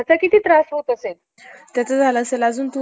म्हणजे कॉन्स्ट्रुकशन चा वेळेस जिथे बिल्डिंग वेगैरे बनवतात ,